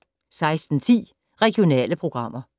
16:10: Regionale programmer